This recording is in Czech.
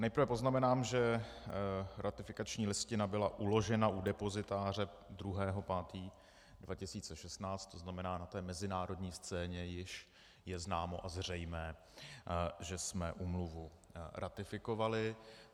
Nejprve poznamenám, že ratifikační listina byla uložena u depozitáře 2. 5. 2016, to znamená, na té mezinárodní scéně již je známo a zřejmé, že jsme úmluvu ratifikovali.